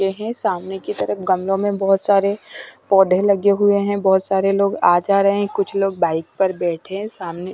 है सामने की तरफ गमलों में बहुत सारे पौधे लगे हुए हैं बहुत सारे लोग आ जा रहे हैं कुछ लोग बाइक पर बैठे हैं सामने--